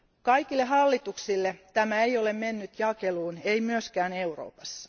Kaikille hallituksille tämä ei ole mennyt jakeluun, ei myöskään Euroopassa.